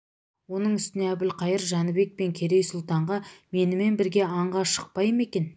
оның үстіне әбілқайыр жәнібек пен керей сұлтанға менімен бірге аңға шықпай ма екен